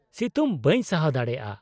-ᱥᱤᱛᱩᱝ ᱵᱟᱹᱧ ᱥᱟᱦᱟᱣ ᱫᱟᱲᱮᱭᱟᱜᱼᱟ ᱾